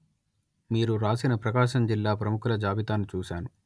మీరు వ్రాసిన ప్రకాశం జిల్లా ప్రముఖుల జాబితాను చూశాను